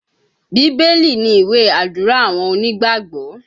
Bíbélì ni ìwé Àdúrà àwọn onígbàgbọ́